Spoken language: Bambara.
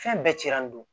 Fɛn bɛɛ cira an bolo